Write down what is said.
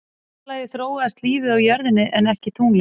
Í fyrsta lagi þróaðist lífið á jörðinni en ekki tunglinu.